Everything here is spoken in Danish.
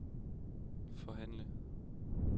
forhandle